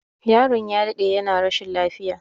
Yaron ya daɗe yana rashin lafiya